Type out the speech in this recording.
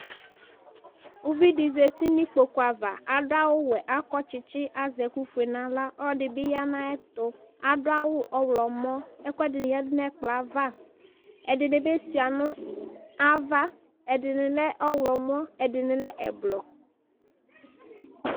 uvi di zati n'ikpoku ava ado awu wɛ akɔ tsitsi azɛ ɛkufue n'ala ɔloɛdi bi ya n'ayɛto ado awu ɔwlɔmɔ ɛkoɛdi ni yadu n'ɛkplɔɛ ava ɛdini bi sua no ava ɛdini lɛ ɔwlɔmɔ ɛdini lɛ ublɔ